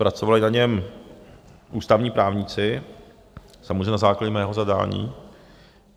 Pracovali na něm ústavní právníci, samozřejmě na základě mého zadání.